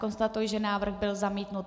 Konstatuji, že návrh byl zamítnut.